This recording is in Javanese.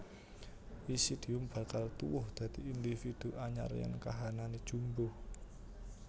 Isidium bakal tuwuh dadi individu anyar yèn kahanané jumbuh